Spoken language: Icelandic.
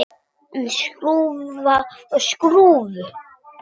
En skrúfa skrúfu?